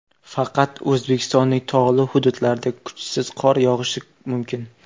Faqat O‘zbekistonning tog‘li hududlarida kuchsiz qor yog‘ishi mumkin.